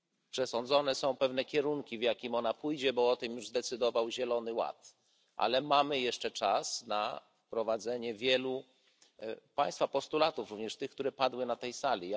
Przesądzone są pewne kierunki, w jakich ona pójdzie, bo o tym już zdecydował Zielony Ład, ale mamy jeszcze czas na wprowadzenie wielu Państwa postulatów, również tych, które padły na tej sali.